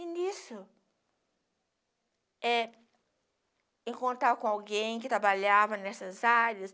E nisso, é, em contar com alguém que trabalhava nessas áreas.